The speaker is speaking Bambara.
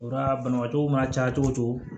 O la banabaatɔw mana caya cogo o cogo